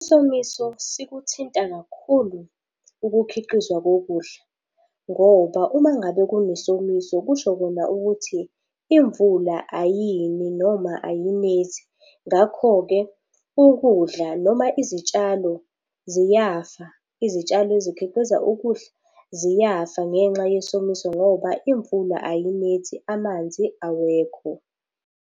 Isomiso sikuthinta kakhulu ukukhiqizwa kokudla. Ngoba uma ngabe kunesomiso kusho khona ukuthi imvula ayini noma ayinethi. Ngakho-ke ukudla noma izitshalo ziyafa, izitshalo ezikhiqiza ukudla ziyafa ngenxa yesomiso ngoba imvula ayinethi, amanzi awekho.